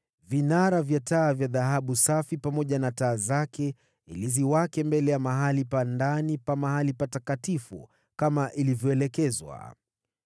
vinara vya taa vya dhahabu safi pamoja na taa zake ili ziwake mbele ya sehemu takatifu ya ndani kama ilivyoelekezwa;